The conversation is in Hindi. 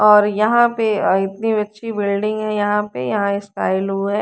और यहां पे अं इतनी अच्छी बिल्डिंग है यहां पे यहां हैं।